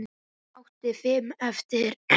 Hún átti fimm eftir.